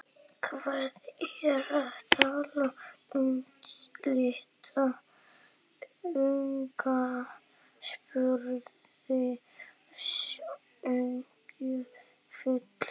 Hvað ertu að tala um litla unga? spurði Sonja fúl.